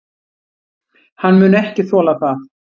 Hann mun ekki þola það.